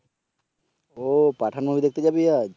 ও Pathaan movie দেখতে যাবি আজ